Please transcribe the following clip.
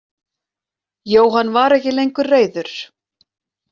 Jóhann var ekki lengur reiður.